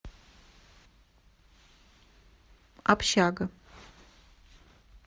общага